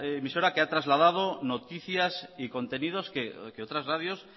emisora que ha trasladado noticias y contenidos que otras radios